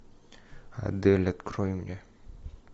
адель открой мне